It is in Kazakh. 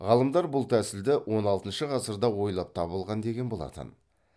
ғалымдар бұл тәсілді он алтыншы ғасырда ойлап табылған деген болатын